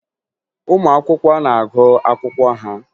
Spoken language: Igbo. Ụmụ akwụkwọ na-agụ akwụkwọ ha